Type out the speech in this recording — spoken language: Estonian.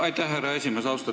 Aitäh, härra esimees!